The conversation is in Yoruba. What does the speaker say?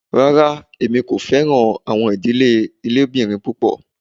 Rárá, èmi kò fẹ̀ràn awọn idílé ilẹòbìrín pupọ̀